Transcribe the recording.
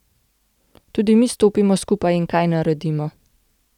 Tudi mi stopimo skupaj in kaj naredimo.